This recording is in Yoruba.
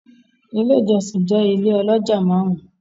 Ile ijọsin jẹ ile oloja marun-un